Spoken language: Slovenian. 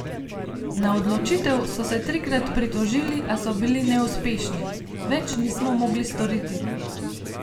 Na odločitev so se trikrat pritožili, a so bili neuspešni: "Več nismo mogli storiti.